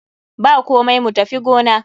Bakomai, mu tafi gona.